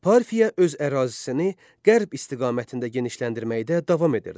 Parfiya öz ərazisini qərb istiqamətində genişləndirməkdə davam edirdi.